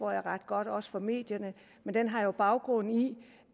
ret godt også fra medierne men den har jo baggrund i